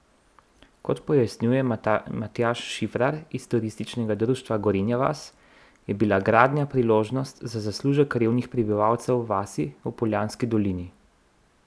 Kot pojasnjuje Matjaž Šifrar iz Turističnega društva Gorenja vas, je bila gradnja priložnost za zaslužek revnih prebivalcev vasi v Poljanski dolini.